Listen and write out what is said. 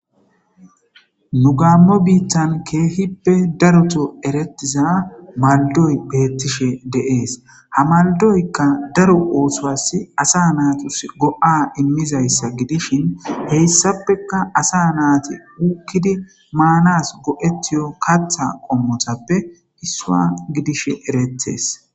Nu gaammo biitan keehippe daroto erettiza maldoy beettishe deees hamaldoykka daru oosowas asa naatus go'a immizayssa gidishin heyssappeka asa naati wukkidi maanas go'etiyo katha qommotappe issua gidishe eretees.